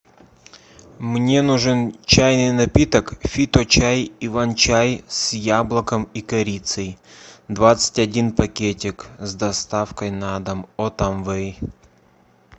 мне нужен чайный напиток фиточай иван чай с яблоком и корицей двадцать один пакетик с доставкой на дом от амвей